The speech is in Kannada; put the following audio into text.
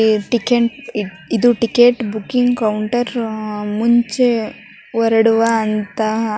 ಇದು ಟಿಕೆಟ್ ಇದು ಟಿಕೆಟ್ ಬುಕಿಂಗ್ ಕೌಂಟರ್ . ಮುಂಚೆ ಹೊರಡುವಂತ--